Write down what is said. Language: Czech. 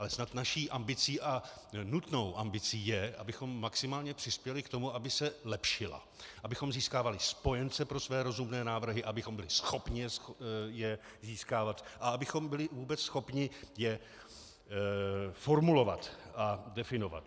Ale snad naší ambicí, a nutnou ambicí, je, abychom maximálně přispěli k tomu, aby se lepšila, abychom získávali spojence pro své rozumné návrhy, abychom byli schopni je získávat a abychom byli vůbec schopni je formulovat a definovat.